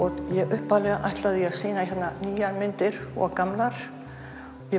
upphaflega ætlaði ég að sýna hérna nýjar myndir og gamlar ég